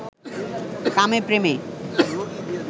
কামে প্রেমে